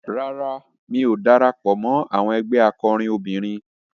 Rárá, mi ò darapọ̀ mọ́ àwọn ẹgbé akọrin obìnrin.